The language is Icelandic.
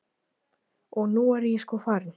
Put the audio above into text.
Og nú er ég sko farin.